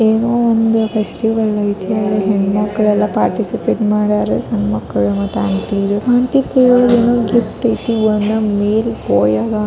ಏನೋ ಒಂದು ಫೆಸ್ಟಿವಲ್ ಐತೆ ಅಲ್ಲಿ ಹೆನ್ಮ್ಕ್ಳೆಲ್ಲ ಪಾರ್ಟಿಸಿಪೇಟ ಮಾಡ್ಯಾರೆ ಸಣ್ಣಮಕ್ಳು ಮತ್ತು ಆಂಟಿ ರು . ಆಂಟಿ ರು ಕೈಯಾಗ್ ಏನೋ ಗಿಫ್ಟ್ ಐತಿ ಒನ್ ಮಳೆ ಬಾಯ್ ಆಗಾಕ್ --